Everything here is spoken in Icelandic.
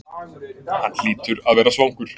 Hann hlýtur að vera svangur.